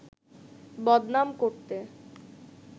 বদনাম করতে